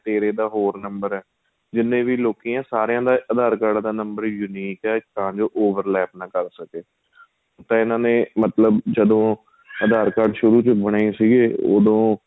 ਤੇਰੇ ਦਾ ਹੋਰ number ਏ ਜਿੰਨੇ ਵੀ ਲੋਕੀ ਏ ਸਾਰੀਆਂ ਦਾ aadhar card ਦਾ number unique ਏ ਤਾਂ ਜੋ ਨਾ ਕਰ ਸਕੇ ਤਾਂ ਇਹਨਾ ਨੇ ਮਤਲਬ ਜਦੋਂ aadhar card ਸ਼ੁਰੂ ਵਿੱਚ ਬਣੇ ਸੀ ਉਹਦੋ